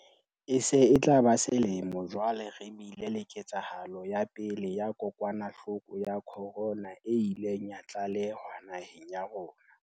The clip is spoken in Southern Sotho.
E se e tla ba selemo jwale re bile le ketsahalo ya pele ya kokwanahloko ya khorona e ileng ya tlalehwa naheng ya rona.